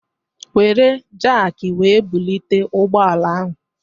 Wéré jaki wee bulite ụgbọala ahu